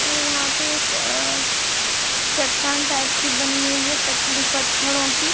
और यहाँ पे एक अ- चट्टान टाइप की बनी हुई है पत्थड़ ही पत्थड़ो की।